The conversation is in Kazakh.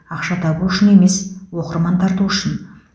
ақша табу үшін емес оқырман тарту үшін